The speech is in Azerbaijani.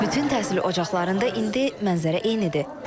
Bütün təhsil ocaqlarında indi mənzərə eynidir.